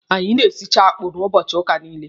Anyị na-esicha akpụ n'ụbọchị ụka niile.